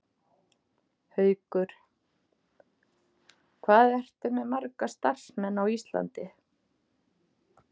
Haukur: Hvað ertu með marga starfsmenn á Íslandi?